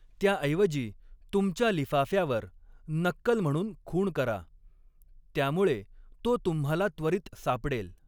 त्याऐवजी, तुमच्या लिफाफ्यावर 'नक्कल' म्हणून खूण करा, त्यामुळे तो तुम्हाला त्वरित सापडेल.